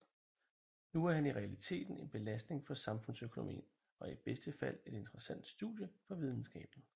Nu er han i realiteten en belastning for samfundsøkonomien og i bedste fald et interessant studie for videnskaben